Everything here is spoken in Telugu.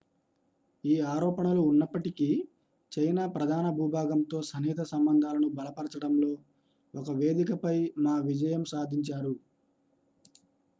ఈ ఆరోపణలు ఉన్నప్పటికీ చైనా ప్రధాన భూభాగంతో సన్నిహిత సంబంధాలను బలపరిచడంలో ఒక వేదికపై మా విజయం సాధించారు